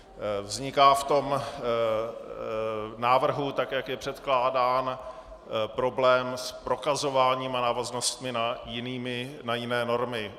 Vzniká v tom návrhu, tak jak je předkládán, problém s prokazováním a návaznostmi na jiné normy.